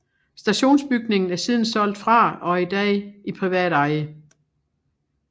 Stationsbygningen er siden solgt fra og er i dag i privat eje